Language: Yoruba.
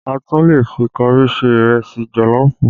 A tún lè fi kọrí ṣe ìrẹsì jọ̀lọ́ọ̀fù